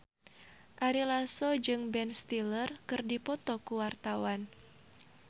Ari Lasso jeung Ben Stiller keur dipoto ku wartawan